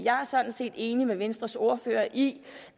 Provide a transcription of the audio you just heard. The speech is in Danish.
er sådan set enig med venstres ordfører i